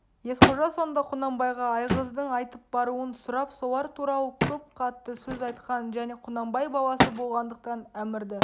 есқожа сонда құнанбайға айғыздың айтып баруын сұрап солар туралы көп қатты сөз айтқан және құнанбай баласы болғандықтан әмірді